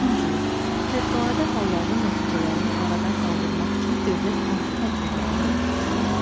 Dördüncü, fövqəladə halların nəticələrini aradan qaldırmaq üçün dövlət hansı tədbirləri görür?